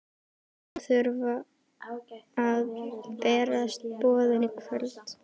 Honum þurfa að berast boðin í kvöld.